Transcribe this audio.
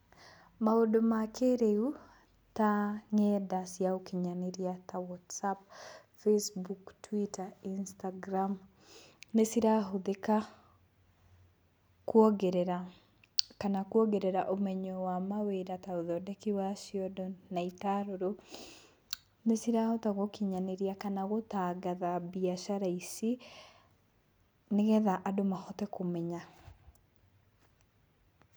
Maũndũ ma kĩrĩu ta ng'enda cia ũkinyanĩria, ta WhatsApp, Facebook, Twitter, Instagram, nĩcirahũthĩka kuogerera kana kuongerera ũmenyo wa mawĩra, ta ũthondeki wa ciondo na itarũrũ. Nĩcirahota gũkinyanĩria kana gũtangatha mbiacara ici, nĩgetha andũ mohote kũmenya.